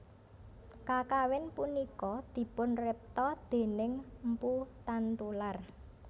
Kakawin punika dipunripta déning mpu Tantular